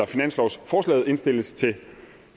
finanslovsforslaget indstilles til